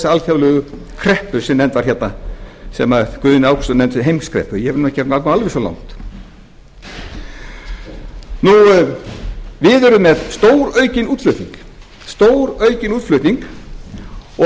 alþjóðlegu kreppu sem nefnd var hérna sem guðni ágústsson nefndi heimskreppu ég vil nú ekki ganga alveg svo langt við erum með stóraukinn útflutning stóraukinn útflutning og